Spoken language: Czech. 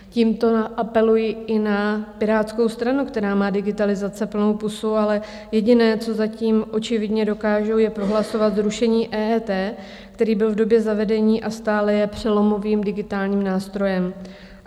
Tímto apeluji i na Pirátskou stranu, která má digitalizace plnou pusu, ale jediné, co zatím očividně dokážou, je prohlasovat zrušení EET, které bylo v době zavedení a stále je přelomovým digitálním nástrojem.